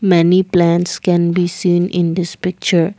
many plants can be seen in this picture.